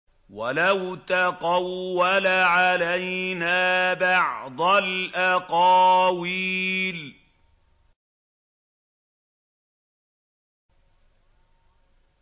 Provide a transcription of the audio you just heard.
وَلَوْ تَقَوَّلَ عَلَيْنَا بَعْضَ الْأَقَاوِيلِ